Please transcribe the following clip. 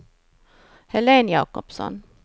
Helen Jakobsson